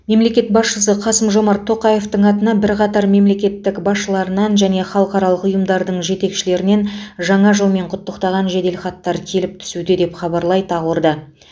мемлекет басшысы қасым жомарт тоқаевтың атына бірқатар мемлекеттіқ басшыларынан және халықаралық ұйымдардың жетекшілерінен жаңа жылмен құттықтаған жеделхаттар келіп түсуде деп хабарлайды ақорда